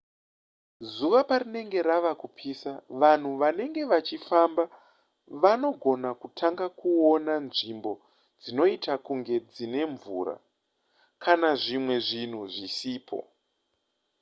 zuva parinenge rava kupisa vanhu vanenge vachifamba vanogona kutanga kuona nzvimbo dzinoita kunge dzine mvura kana zvimwe zvinhu zvisipo